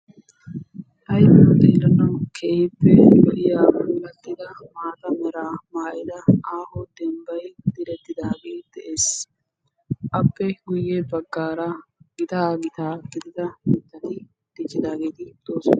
Ayfiyaan xeelanaw keehippe lo"iyaa aaho dembbay diretidaage de'ees; appe guyye baggara gitaa gitaa gidida mittati diccidaageeti doosona.